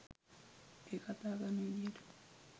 එයා කතා කරන විදිහට.